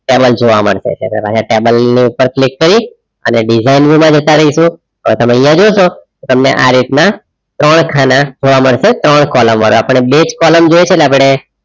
Table જોવા મળશે અને table ની ઉપર click કરી અને design view માં જતા રહીશું. તો તમે અહીંયા જોશો તમને આ રીતના ત્રણ ખાના જોવા મળશે ત્રણ column વાળા આપણે બે જ column જોઈએ છે એટલે આપણે